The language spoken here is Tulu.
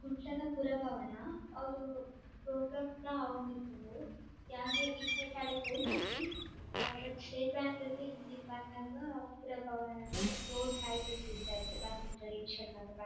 ಕುಡ್ಲದ ಪುರಭವನ ಅವುಲು ಪ್ರೋಗ್ರಾಮ್ ಪುರ ಆವೊಂದಿಪ್ಪುಂಡು. ಯಾನ್ ಈತ್ನೆಟ ಅಡೆ ಪೋತುಜಿ ಬಟ್ ಸ್ಟೇಟ್ ಬ್ಯಾಂಕ್ ರ್ದ್ ಇಂಚಿ ಬನ್ನಗ ಪುರಭವನ ನ್ ರೋಡ್ ಸೈಡ್ ಡ್ ತೂತೆ ಆತೆ ಬಸ್ ಟ್ ರಿಕ್ಷಾ ಡ್ ಮಾತ ಬನ್ --